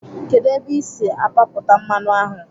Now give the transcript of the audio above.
Kedụ ebe ị si apapụta mmanụ ahụ?